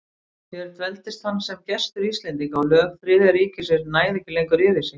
Hér dveldist hann sem gestur Íslendinga, og lög Þriðja ríkisins næðu ekki lengur yfir sig.